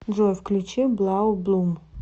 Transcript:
джой включи блау блум